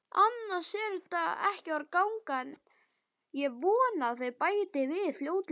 En ég vona að þau bæti við fljótlega.